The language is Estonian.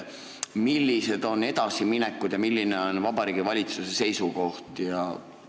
Millised on edasiminekud selles vallas ja milline on Vabariigi Valitsuse seisukoht?